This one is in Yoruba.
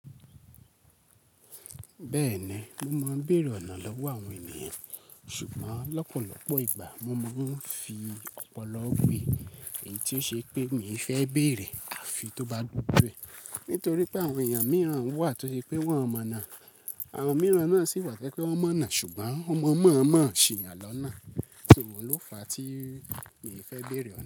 Bẹ́ẹ̀ni, mo máa ń bèèrè ọ̀nà lọ́wọ́ àwọn ènìyàn, ṣùgbọ́n lọ́pọ̀lọpọ̀ ìgbà mo máa ń fi ọ̀pọ̀lọ́ wí èyí tí ó ṣe pé mi fẹ́ béèrè àfi tó bá doju e. Nítorí pé àwọn èèyàn mìíràn wà tó ṣe pé wọn mọ̀ ọ́nà, àwọn mìíràn náà sì wà tẹ́ kí wọ́n mọ̀ ọ́nà ṣùgbọ́n wọn mọ̀ mọ̀ ń ṣe ìyànlọ́nà. Ṣùgbọ́n ló fàá tí èmi fẹ́ béèrè ọ̀na.